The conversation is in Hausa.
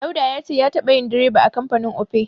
Dauda ya ce ya taɓa yin direba a kamfanin Opay.